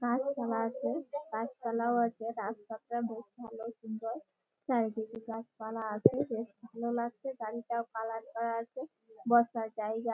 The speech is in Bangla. গাছপালা আছে গাছপালাও আছে রাস্তাটা খুব ভালো সুন্দর চারিদিকে গাছপালা আছে বেশ ভালো লাগছে বাড়িটা কালার করা আছে বসার জায়গা-আ।